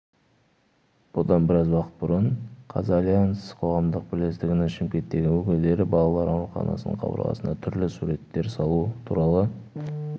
бұдан біраз уақыт бұрын қазальянс қоғамдық бірлестігінің шымкенттегі өкілдері балалар ауруханасының қабырғасына түрлі суреттер салу туралы